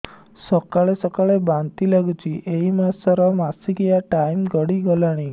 ସକାଳେ ସକାଳେ ବାନ୍ତି ଲାଗୁଚି ଏଇ ମାସ ର ମାସିକିଆ ଟାଇମ ଗଡ଼ି ଗଲାଣି